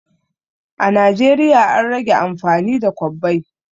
A Najeriya an rage amfani da kwabbai